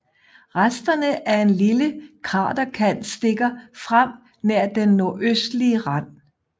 Resterne af en lille kraterkant stikker frem nær den nordøstlige rand